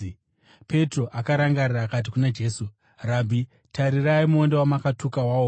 Petro akarangarira akati kuna Jesu, “Rabhi, tarirai! Muonde wamakatuka waoma!”